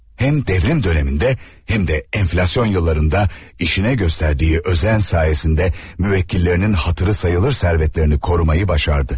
Həm devrim dövründə, həm də enflasyon illərində işinə göstərdiyi özen sayəsində müvəkkillərinin hatırı sayılır sərvətlərini qorumayı başardı.